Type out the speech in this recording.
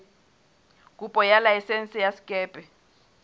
kopo ya laesense ya sekepe